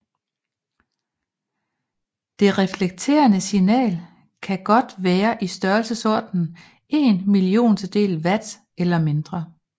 Det reflekterede signal kan godt være i størrelsesordenen en milliontedel watt eller mindre